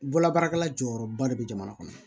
Bolobaarakɛla jɔyɔrɔba de be jamana kɔnɔ